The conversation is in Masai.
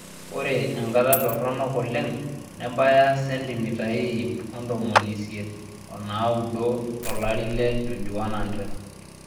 Ore enkata toronok oleng nebaya sentimitai iip ontomoni isiet onaauddo tolari le 2100.